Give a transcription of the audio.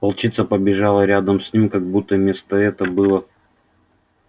волчица побежала рядом с ним как будто место это было